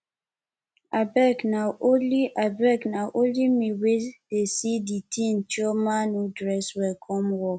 abeg na only abeg na only me wey dey see di thing chioma no dress well come work